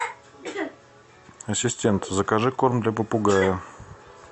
ассистент закажи корм для попугая